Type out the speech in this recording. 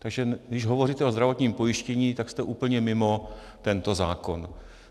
Takže když hovoříte o zdravotním pojištění, tak jste úplně mimo tento zákon.